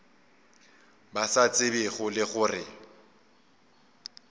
ba sa tsebego le gore